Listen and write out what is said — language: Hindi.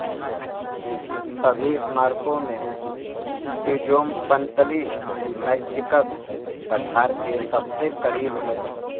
सभी स्मारकों में टीजोमपंतली मैक्सिकन पठार के सबसे करीब है